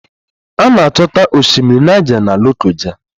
A na-achọta Osimiri Naịja na Lokoja